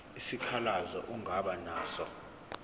isikhalazo ongaba naso